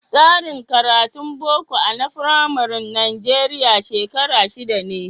Tsarin karatun Boko a na Firamari Najeriya shekara shida ne.